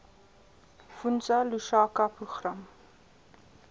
fundza lushaka program